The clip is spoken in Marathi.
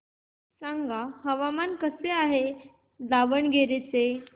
सांगा हवामान कसे आहे दावणगेरे चे